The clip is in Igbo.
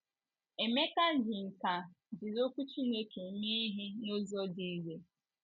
Emeka ji nkà jiri Okwu Chineke mee ihe n’ụzọ dị irè.